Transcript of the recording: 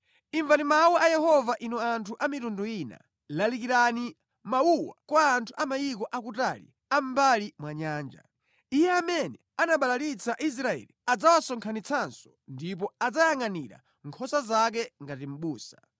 “Imvani mawu a Yehova inu anthu a mitundu ina; lalikirani mawuwa kwa anthu a mayiko akutali a mʼmbali mwa nyanja; ‘Iye amene anabalalitsa Israeli adzawasonkhanitsanso ndipo adzayangʼanira nkhosa zake ngati mʼbusa.’